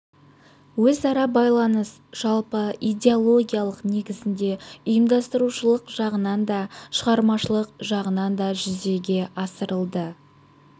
өзара байланыс жалпы идеологиялық негізінде ұйымдастырушылық жағынан да шығармашылық жағынан да жүзеге асырылды